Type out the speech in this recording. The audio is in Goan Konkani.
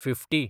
फिफ्टी